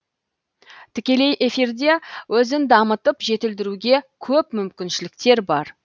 тікелей эфирде өзін дамытып жетілдіруге көп мүмкіншіліктер бар